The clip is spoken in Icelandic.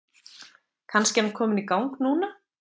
Kannski er hann kominn í gang núna?